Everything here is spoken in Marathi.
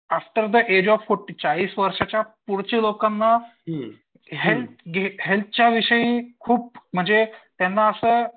after the age of forty चाळीस वर्षाच्या पुढच्या लोकांना हेल्थ हेल्थच्या विषयी खूप म्हणजे त्यांना असं